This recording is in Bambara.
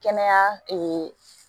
Kɛnɛya